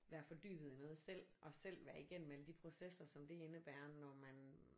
Være fordybet i noget selv og selv være igennem alle de processer som det indebærer når man